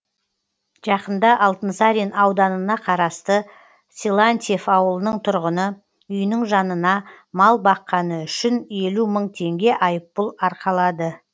жақында алтынсарин ауданына қарасты силантьев аулының тұрғыны үйінің жанына мал баққаны үшін елу мың теңге айыппұл арқалады